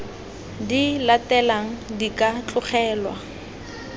di latelang di ka tlogelwa